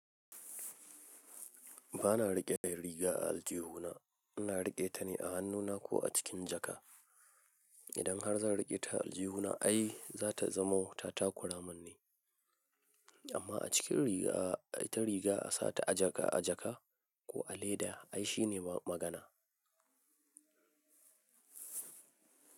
Ba na riƙe yar riga a aljihuna, ina riƙe ta ne a hannuna ko a cikin jaka. Idan har zan riƙe ta a aljihuna ai za ta zama tatakura min ne, amma a cikin riga ai ta riga a sa ta a jaka a jaka ko a leda ai shine magana.